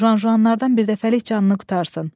Juan Juanlardan bir dəfəlik canını qurtarsın.